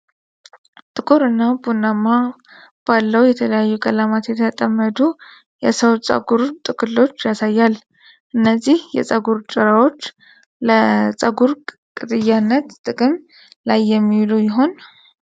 ከጥቁር እስከ ቀላል ቡናማ ባለው የተለያዩ ቀለማት የተጠመዱ የሰው ፀጉር ጥቅሎችን ያሳያል። እነዚህ የጸጉር ጭራዎች ለጸጉር ቅጥያነት ጥቅም ላይ የሚውሉ ይሆን?